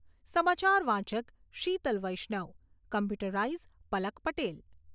સમાચાર વાચક શીતલ વૈશ્નવ. કમ્પ્યુટરાઈઝ પલક પટેલ.